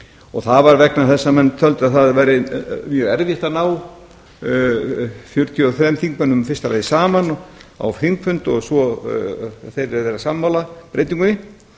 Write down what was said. og það var vegna þess að menn töldu að það væri mjög erfitt að ná fjörutíu og þremur þingmönnum í fyrsta lagi saman á þingfund og svo yrðu þeir að vera sammála breytingunni